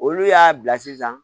Olu y'a bila sisan